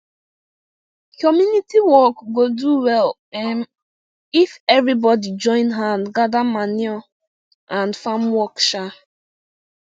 community work go do well um if everybody join hand gather manure and farm work um